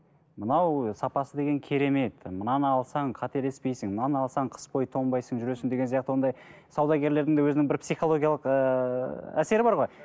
мынау сапасы деген керемет мынаны алсаң қателеспейсің мынаны алсаң қыс бойы тонбайсың жүресің деген сияқты ондай саудагерлердің де өзінің бір психологиялық ыыы әсері бар ғой